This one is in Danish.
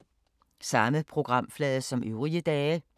Samme programflade som øvrige dage